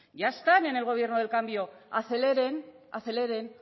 ya están en el gobierno del cambio aceleren aceleren